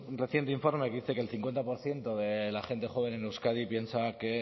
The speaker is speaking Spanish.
reciente informe que dice que el cincuenta por ciento de la gente joven en euskadi piensa que